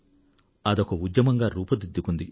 అదొక ఉద్యమంగా రూపు దిద్దుకుంది